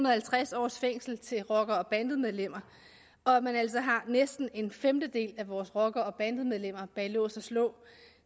og halvtreds års fængsel til rockere og bandemedlemmer og at man altså har næsten en femtedel af vores rockere og bandemedlemmer bag lås og slå